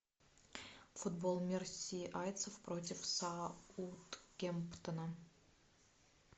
футбол мерсисайдцев против саутгемптона